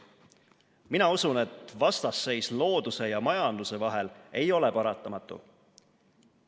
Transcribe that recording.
Mina usun, et vastasseis looduse ja majanduse vahel ei ole paratamatu.